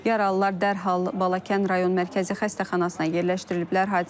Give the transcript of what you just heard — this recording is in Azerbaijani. Yaralılar dərhal Balakən rayon mərkəzi xəstəxanasına yerləşdiriliblər.